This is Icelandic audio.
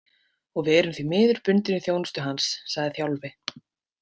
Og við erum því miður bundin í þjónustu hans, sagði Þjálfi.